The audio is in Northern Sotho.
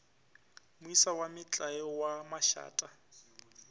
moisa wa metlae wa mašata